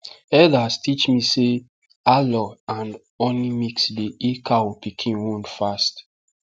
elders teach me say aloe and honey mix dey heal cow pikin wound fast